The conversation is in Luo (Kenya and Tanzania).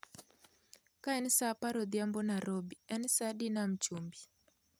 Kaen sa apar odhiambo narobi en sa adi nam chumbi